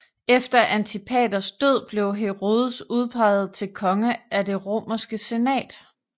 Efter Antipaters død blev Herodes udpeget til konge af Det romerske Senat